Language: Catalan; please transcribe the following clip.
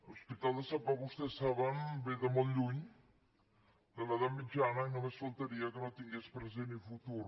l’hos·pital de sant pau vostès ho saben ve de molt lluny de l’edat mitjana i només faltaria que no tingués pre·sent i futur